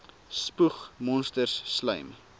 spoeg monsters slym